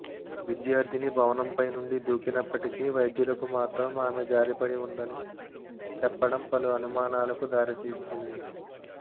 విద్యార్థిని భవనంపై నుండి దూకి నప్పటికీ వైద్యులకు మాత్రం ఆమె జారిపడి ఉందని చెప్పడం పలు అనుమానాలకు దారితీస్తుంది